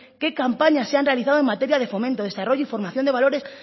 qué campañas se han realizado en materia de fomento desarrollo y formación de valores